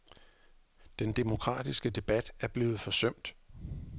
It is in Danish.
Den demokratiske debat er blevet forsømt.